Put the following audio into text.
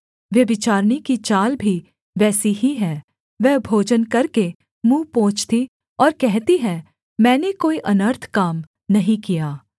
व्यभिचारिणी की चाल भी वैसी ही है वह भोजन करके मुँह पोंछती और कहती है मैंने कोई अनर्थ काम नहीं किया